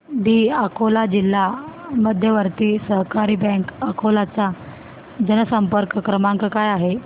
दि अकोला जिल्हा मध्यवर्ती सहकारी बँक अकोला चा जनसंपर्क क्रमांक काय आहे